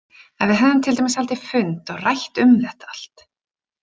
Ef við hefðum til dæmis haldið fund og rætt um þetta allt.